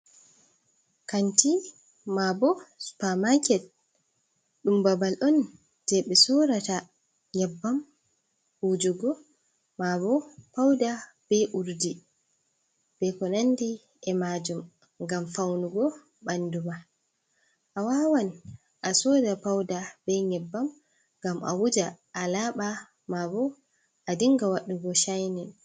Kanti mabo supermaket ɗum babal on je ɓe sorata nyeɓɓam wujugo, ma bo pauda be urdi, be ko nandi e majum ngam faunugo ɓanduma. Awawan a soda pauda bei nyebbam, ngam a wuja a laɓa mabo a dinga waɗugo chinin.